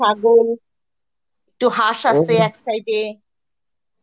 ছাগল, একটু হাঁস এক side এ